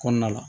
Kɔnɔna la